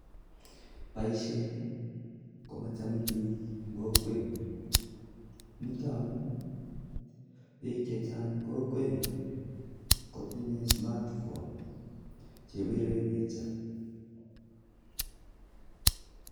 Boisyoni komochome bik eng kokwenyu amuu tinye simoit nebirei pichainik